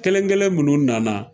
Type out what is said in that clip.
Kelen kelen minnu nana